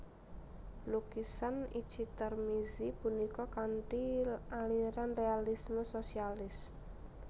Lukisan Itji Tarmizi punika kanthi aliran realisme sosialis